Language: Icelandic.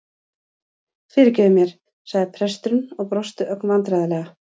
Fyrirgefðu mér- sagði presturinn og brosti ögn vandræðalega.